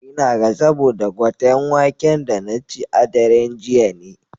Ina ga saboda gwaten waken da na ci a daren jiya ne.